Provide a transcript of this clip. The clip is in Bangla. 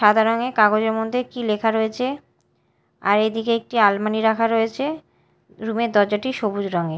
সাদা রঙের কাগজের মধ্যে কী লেখা রয়েছে আর এদিকে একটি আলমারি রাখা রয়েছে রুম -এর দরজাটি সবুজ রঙের।